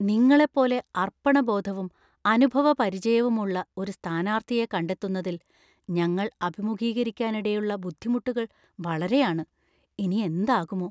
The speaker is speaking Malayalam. നിങ്ങളെപ്പോലെ അർപ്പണബോധവും അനുഭവപരിചയവുമുള്ള ഒരു സ്ഥാനാർത്ഥിയെ കണ്ടെത്തുന്നതിൽ ഞങ്ങൾ അഭിമുഖീകരിക്കാനിടയുള്ള ബുദ്ധിമുട്ടുകൾ വളരെയാണ്. ഇനി എന്താകുമോ?